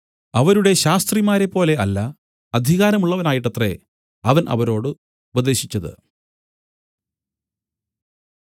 അവരുടെ ശാസ്ത്രിമാരെപ്പോലെ അല്ല അധികാരമുള്ളവനായിട്ടത്രേ അവൻ അവരോട് ഉപദേശിച്ചത്